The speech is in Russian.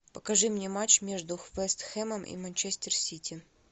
покажи мне матч между вест хэмом и манчестер сити